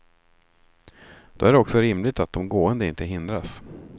Då är det också rimligt att de gående inte hindras.